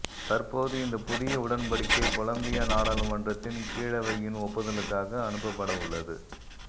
தற்போது இந்த புதிய உடன்படிக்கை கொலம்பிய நாடாளுமன்றத்தின் கீழவையின் ஒப்புதலுக்காக அனுப்பப்படவுள்ளது